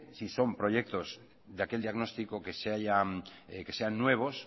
si son proyectos de aquel diagnóstico que sean nuevos